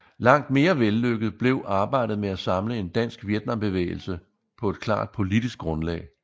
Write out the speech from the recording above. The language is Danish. Langt mere vellykket blev arbejdet med at samle en dansk Vietnambevægelse på et klart politisk grundlag